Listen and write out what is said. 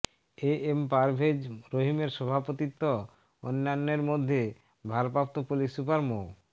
এ M Parvez রহিমের সভাপতিত্ব অন্যান্যের মধ্যে ভারপ্রাপ্ত পুলিশ সুপার মো